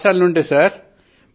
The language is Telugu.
పాఠశాల నుండే సర్